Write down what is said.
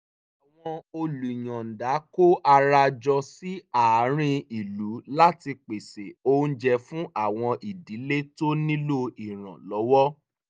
àwọn olùyọ̀ǹda kó ara jọ sí àárín ìlú láti pèsè oúnjẹ fún àwọn ìdílé tó nílò ìrànlọ́wọ́